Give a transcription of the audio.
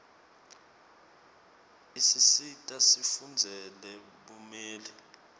isisita sifundzele bumeli